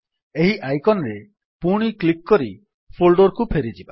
ଏହି ଆଇକନ୍ ରେ ପୁଣି କ୍ଲିକ୍ କରି ଫୋଲ୍ଡର୍ କୁ ଫେରିଯିବା